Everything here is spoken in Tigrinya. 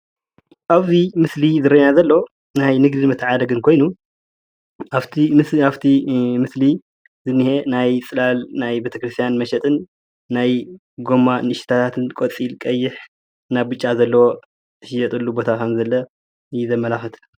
ኣብዙይ ምስሊ ዝርአየና ዘሎ ናይ ንግድን መተዓዳደግን ኮይኑ ኣብቲ ምስሊ ዝኒሀ ናይ ፅላል ናይ ቤተክርስትያን መሸጥን ናይ ጎማ ንእሽተያትን ቆፃል ፣ቀይሕ ፣ብጫን ዘለዎ ዝሽየጠሉ ቦታ ከም ዘሎ እዩ ዘመላኽት።